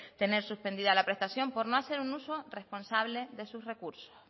tener suspendida la prestación por no hacer un uso responsable de sus recursos